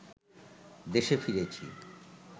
দেশে ফিরেছি